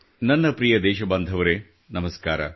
ನನ್ನ ಪ್ರಿಯ ದೇಶಬಾಂಧವರೆ ನಮಸ್ಕಾರ